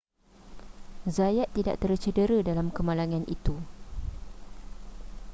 zayat tidak tercedera dalam kemalangan itu